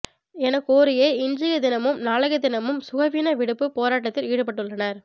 என கோரியே இன்றைய தினமும் நாளைய தினம் சுகவீன விடுப்பு போராட்டத்தில் ஈடுபட்டுள்ளனர்